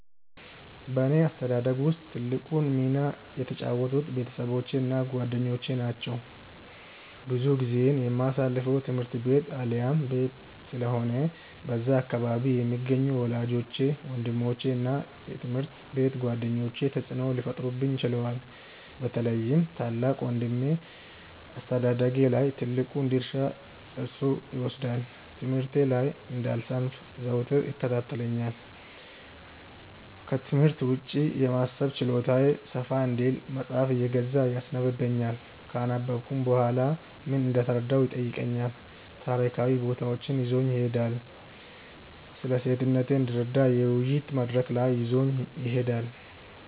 በእኔ አስተዳደግ ውስጥ ትልቁን ሚና የተጫወቱት ቤተሰቦቼ እና ጓደኞቼ ናቸው። ብዙ ጊዜዬን የማሳልፈው ትምህርት ቤት አሊያም ቤት ስለሆነ በዛ አካባቢ የሚገኙት ወላጆቼ፤ ወንድሞቼ እና የትምሀርት ቤት ጓደኞቼ ተጽእኖ ሊፈጥሩብኝ ችለዋል። በተለይም ታላቅ ወንድሜ አስተዳደጌ ላይ ትልቁን ድርሻ እርሱ ይወስዳል። ትምህርቴ ላይ እንዳልሰንፍ ዘወትር ይከታተለኛል፤ ክትምህርት ውጪ የማሰብ ችሎታዬ ሰፋ እንዲል መጽሃፍ እየገዛ ያስነበብኛል፤ ካነበብኩም በኋላ ምን እንደተረዳሁ ይጠይቀኛል፤ ታሪካዊ ቦታዎች ይዞኝ ይሄዳል፤ ስለሴትነቴ እንድረዳ የውይይት መድረክ ላይ ይዞኝ ይሄዳል።